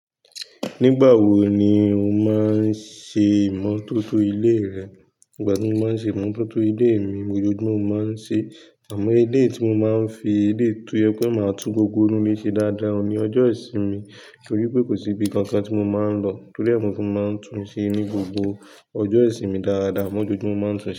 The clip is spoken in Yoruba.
Nígbà wo ni o máa ń ṣe ìmọ́tótó ilé rẹ? Ìgbà tí mo máa ń ṣe ìmọ́tótó ilé mi, ojoojúmọ́ mo máa ń ṣe é. Àmọ́ ilé tí mo máa ń fi ilé tó yẹ pé màá tún gbogbo inú ilé ṣe dáadáa ni ọjọ́ ìsinmi. Nítorí pé kò síbi kankan tí mo máa ń lọ torí ẹ́ tí mo máa ń tún ṣe ni gbogbo ọjọ́ ìsinmi dáadáa, àmọ́ ojoojúmọ́ mo máa ń tún ṣe é.